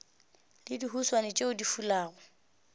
le dihuswane tšeo di fulago